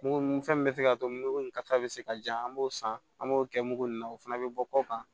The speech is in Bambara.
Mugu ni fɛn min bɛ se ka to mugu ni kasa bɛ se ka ja an b'o san an b'o kɛ mugu in na o fana bɛ bɔ kɔ kan